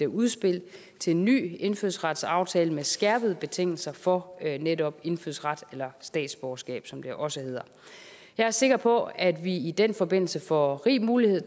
udspil til en ny indfødsretsaftale med skærpede betingelser for netop indfødsret eller statsborgerskab som det også hedder jeg er sikker på at vi i den forbindelse får rig mulighed